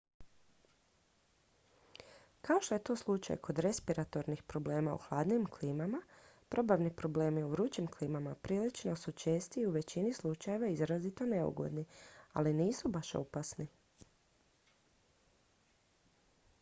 kao što je to slučaj kod respiratornih problema u hladnijim klimama probavni problemi u vrućim klimama prilično su česti i u većini slučajeva izrazito neugodni ali nisu baš opasni